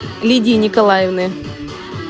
лидии николаевны